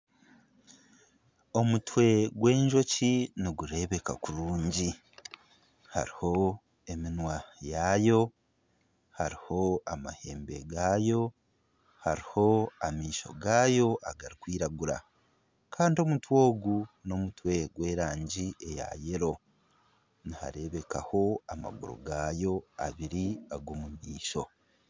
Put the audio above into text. Omutwe gw'enjoki nigureebeka kurungi hariho eminwa yaayo, hariho amahembe gaayo hariho amaisho gaayo abarikwiragura kandi omutwe ogu n'omutwe gw'erangi eya yero nihareebekaho amaguru gaayo abiri ag'omu maisho.